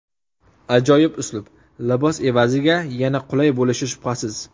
Ajoyib uslub libos egasiga yanada qulay bo‘lishi shubhasiz.